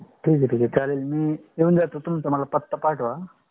ठीक है ठीक है. चालेल तुझा पत्ता मला पाठव.